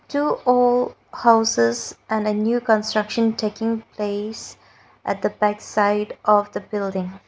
two old houses and a new construction taking place at the back side of the building.